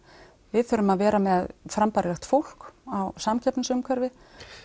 við þurfum að vera með frambærilegt fólk á samkeppnisumhverfi